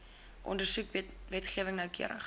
ondersoek wetgewing noukeurig